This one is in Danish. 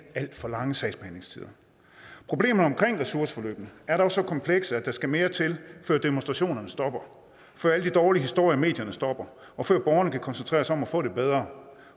alt for lange sagsbehandlingstider problemerne omkring ressourceforløbene er dog så komplekse at der skal mere til før demonstrationerne stopper før alle de dårlige historier i medierne stopper og før borgerne kan koncentrere sig om at få det bedre